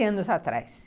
quinze anos atrás.